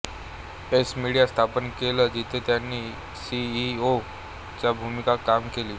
x media स्थापन केलं जिथे त्यांनी सी ई ओ च्या भूमिकेत काम केले